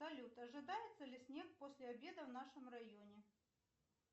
салют ожидается ли снег после обеда в нашем районе